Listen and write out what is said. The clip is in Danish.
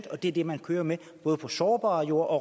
og det er det man kører med både på sårbare jorder og